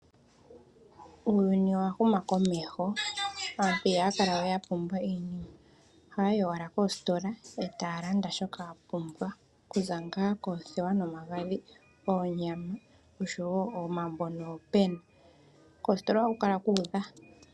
Uuyuni owa huma komeho aantu ihaya kalawe wa pumba iinima ohaya yi owala koostola eta ya landa shoka ya pumbwa kuza ngaa koothewa nomagadhi, oonyama oshowo omambo noopena koostola ohaku kala ku udha.